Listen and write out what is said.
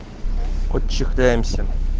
отчехляемся